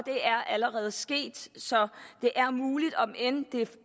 er allerede sket så det er muligt om end det